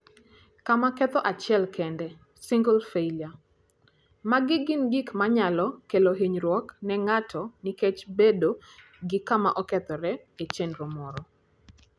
Kama Ketho Achiel Kende (Single Failure): Magi gin gik manyalo kelo hinyruok ne ng'ato nikech bedo gi kama okethore e chenro moro.